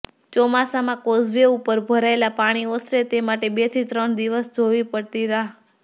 ચોમાસામાં કોઝવે ઉપર ભરાયેલા પાણી ઓસરે તે માટે બેથી ત્રણ દિવસ જોવી પડતી રાહ